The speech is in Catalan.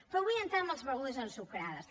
però vull entrar en les begudes ensucrades